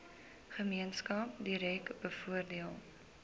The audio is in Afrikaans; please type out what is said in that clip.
gemeenskap direk bevoordeel